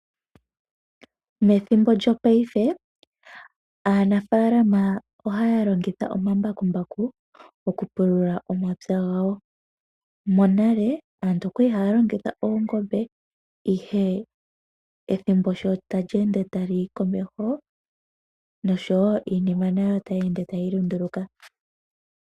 Methimbo lyopayife aanafaalama ohaya longitha omambakumbaku oku pulula omapya gawo. Monale aantu okwali haya longitha oongombe. Ethimbo sho tali ende lyuuka komeho noshowo iinima nayo otayi ende tayi lunduluka.